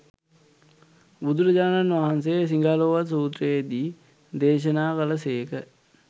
බුදුරජාණන් වහන්සේ සිගාලෝවාද සුත්‍රයේ දී දේශනා කළ සේක.